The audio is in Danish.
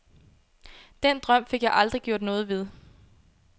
Den drøm fik jeg aldrig gjort noget ved.